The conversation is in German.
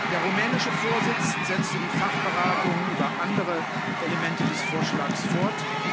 Der rumänische Vorsitz setzte die Fachberatungen über andere Elemente des Vorschlags fort.